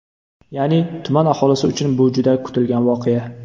Ya’ni, tuman aholisi uchun bu juda kutilgan voqea!